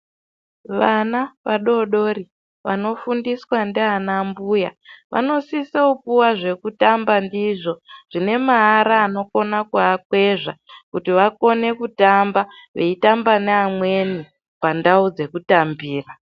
Vana vadodori vanofundiswa ndiana mbuya vanosisa kupuwa zvekutamba ndizvo zvine maara anokona kuakwezva, kuti vakone kutamba veitamba neamweni pandau dzekutambira.